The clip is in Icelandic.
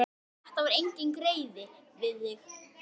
Þetta var enginn greiði við þig.